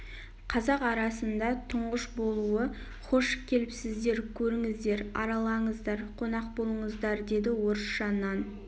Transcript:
қазақ арасында түңғыш болуы хош келіпсіздер көріңіздер аралаңыздар қонақ болыңыздар деді орысша нан